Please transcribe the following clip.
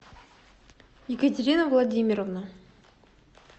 екатерина владимировна